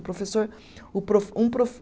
Professor, o profe, um profe